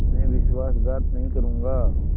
मैं विश्वासघात नहीं करूँगा